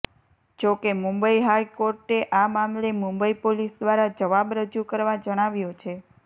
જો કે મુંબઈ હાઈકોર્ટે આ મામલે મુંબઈ પોલીસ દ્વારા જવાબ રજુ કરવા જણાવ્યુ છે